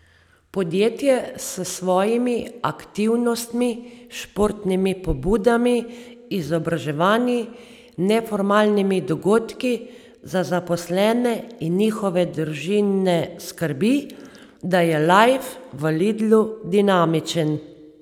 Podjetje s svojimi aktivnostmi, športnimi pobudami, izobraževanji, neformalnimi dogodki za zaposlene in njihove družine skrbi, da je lajf v Lidlu dinamičen.